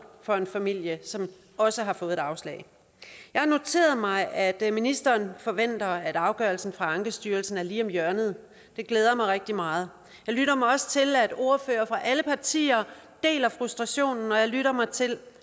for en familie som også har fået et afslag jeg har noteret mig at ministeren forventer at afgørelsen fra ankestyrelsen er lige om hjørnet det glæder mig rigtig meget jeg lytter mig også til at ordførere fra alle partier deler frustrationen og jeg lytter mig til